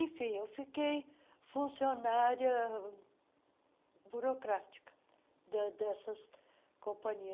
Enfim, eu fiquei funcionária burocrática de dessas companhias.